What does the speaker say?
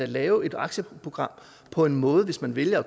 lave et aktieprogram på en måde hvis man vel at